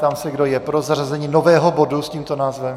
Ptám se, kdo je pro zařazení nového bodu s tímto názvem.